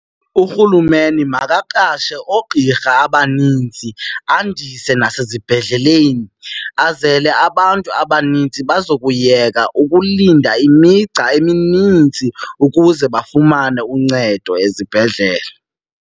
URhulumeni makaqashe oogqirha abaninzi andise nasezibhedleleni azele abantu abaninzi bazokuyeka ukulinda imigca eminintsi ukuze bafumane uncedo ezibhedlele.